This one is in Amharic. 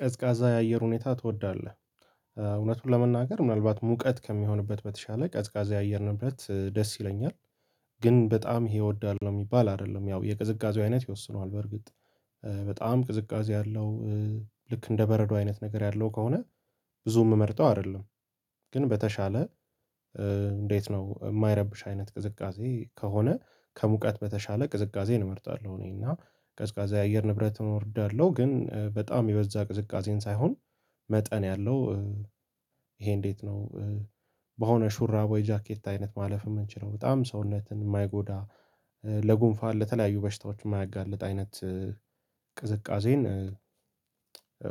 ቀዝቃዛ የአየር ሁኔታ ትወዳለህ? እውነቱን ለመናገር ምናልባት ሙቀት ከሚሆንበት በተሻለ ቀዝቃዛ የአየርንብረት ደስ ይለኛል። ግን በጣም ይሄ እወዳለሁ ነው የሚባል አይደለም ያው የቅዝቃዜው አይነት ይወስነዋል በርግጥ። በጣም ቅዝቃዜ አለው ልክ እንደ በረዶ አይነት ነገር ያለው ከሆነ ብዙም ምመርጠው አይደለም። ግን በተሻለ እንዴት ነው የማይረብሽ አይነት ቅዝቃዜ ከሆነ ከሙቀት በተሻለ ቅዝቃዜ እመርጣለሁ። እኔ እና ቀዝቃዛ የአየር ንብረት እወዳለሁ ግን በጣም የበዛ ቅዝቃዜን ሳይሆን መጠን ያለው። ይሄ እንዴት ነው? በሆነ ሹራብ ወይ ጃኬት አይነት ማለፍ የምንችለው በጣም ሰውነትን የማይጎዳ ለጉንፋን ለተለያዩ በሽታዎች የማያጋልጥ አይነት። ቅዝቃዜን